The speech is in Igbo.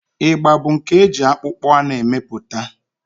Ịgba bụ nke eji akpụkpọ anụ emepụta.